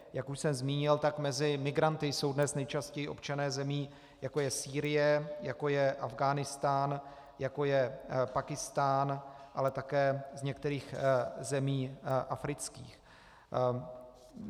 Jak už jsem zmínil, tak mezi migranty jsou dnes nejčastěji občané zemí, jako je Sýrie, jako je Afghánistán, jako je Pákistán, ale také z některých zemí afrických.